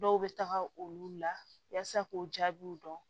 Dɔw bɛ taga olu la yasa k'u jaabiw dɔn